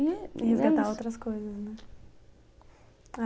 E resgatar outras coisas, né?